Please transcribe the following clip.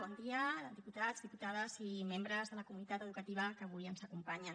bon dia diputats diputades i membres de la comunitat educativa que avui ens acompanyen